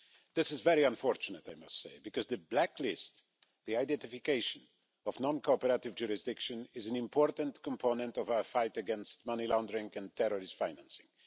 This is very unfortunate, I must say, because the blacklist the identification of non-cooperative jurisdictions is an important component of our fight against money laundering and terrorist financing.